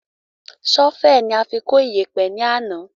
Sọ́fẹ́ẹ̀ ni a fi kó iyẹ̀pẹ̀ ni àná